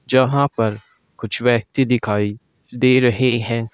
जहां पर कुछ व्यक्ति दिखाई दे रहे हैं।